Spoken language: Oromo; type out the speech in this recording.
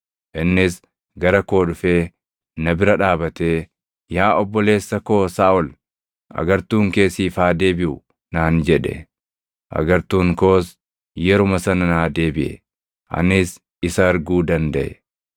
Innis gara koo dhufee na bira dhaabatee, ‘Yaa obboleessa koo Saaʼol, agartuun kee siif haa deebiʼu!’ naan jedhe; agartuun koos yeruma sana naa deebiʼe. Anis isa arguu dandaʼe.